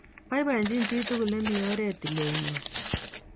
"Boibochin chi tugul nemi orit tiletnyo."